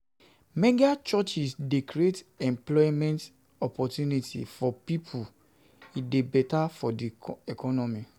Mega churches de create employment opportunity for pipo e de better di economy